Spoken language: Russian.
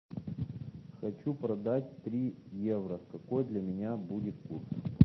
хочу продать три евро какой для меня будет курс